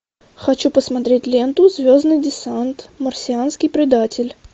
хочу посмотреть ленту звездный десант марсианский предатель